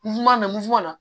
N go la